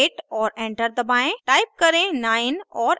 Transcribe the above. type करें 9 और enter दबाएं